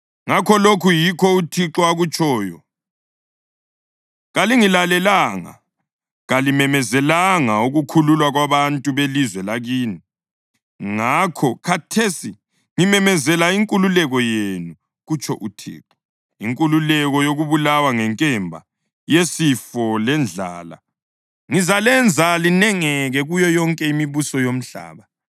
Ngakho, lokhu yikho uThixo akutshoyo: Kalingilalelanga; kalimemezelanga ukukhululwa kwabantu belizwe lakini. Ngakho khathesi ngimemezela ‘inkululeko’ yenu, kutsho uThixo, ‘inkululeko’ yokubulawa ngenkemba, yisifo lendlala. Ngizalenza linengeke kuyo yonke imibuso yomhlaba.